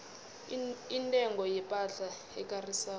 intengo yepahla ekarisako